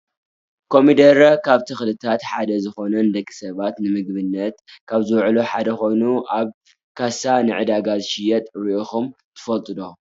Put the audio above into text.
ኮሚዴሬ ካብ ተክልታት ሓደ ዝኮነ ንደቂ ሰባት ንምግብነት ካብ ዝውዕሉ ሓደ ኮይኑ ኣብ ካሳ ንዕዳጋ ዝሽየጥ ሪኢኩም ትፈልጡ ዶ ?